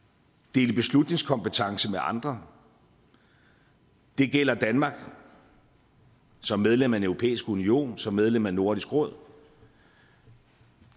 dele beslutningskompetence med andre det gælder danmark som medlem af den europæiske union som medlem af nordisk råd